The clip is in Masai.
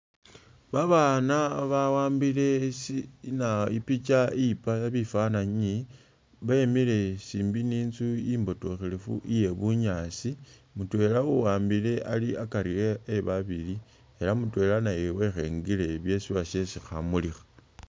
Babana bawambile shi i'nah ipicha i'yipa bifananyi bemiile siimbi ni'nzu imbotokhelefu iye bunyaasi mutwela uwambile ali akari e ebabili elah uwashe mutwela naye wekhengile byesi uwashe khamulikha